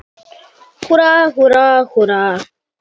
Húrra, húrra, húrra!